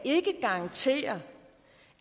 garantere